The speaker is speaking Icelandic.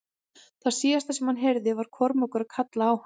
Það síðasta sem hann heyrði var Kormákur að kalla á hann.